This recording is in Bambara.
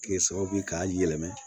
Kɛ sababu ye k'a yɛlɛma